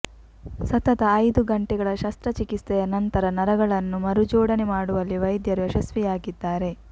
ಸತತ ಐದು ಗಂಟೆಗಳ ಶಸ್ತ್ರಚಿಕಿತ್ಸೆಯ ನಂತರ ನರಗಳನ್ನು ಮರುಜೋಡಣೆ ಮಾಡುವಲ್ಲಿ ವೈದ್ಯರು ಯಶಸ್ವಿಯಾಗಿದ್ದಾರೆ